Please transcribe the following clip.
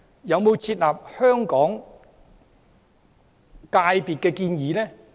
有否接納香港業界的建議？